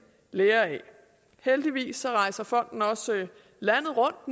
lære af heldigvis rejser fonden nu også landet rundt